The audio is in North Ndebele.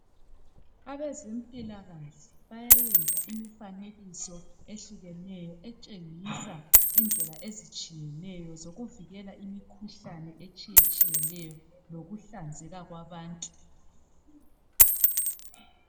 abezempilakahle bayayenza imifanekiso ehlukeneyo etshengisa indlela ezitshiyeneyo zokuvikela imikhuhlane etshiyetshiyeneyo lokuhlanzeka kwabantu